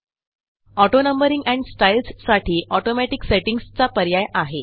auto numbering and styles साठी automatic settings चा पर्याय आहे